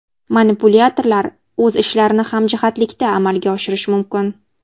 Manipulyatorlar o‘z ishlarini hamjihatlikda amalga oshirishi mumkin.